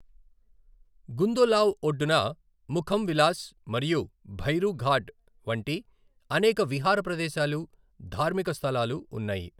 గుందోలావ్ ఒడ్డున ముఖం విలాస్ మరియు భైరు ఘాట్ వంటి అనేక విహార ప్రదేశాలు, ధార్మిక స్థలాలు ఉన్నాయి.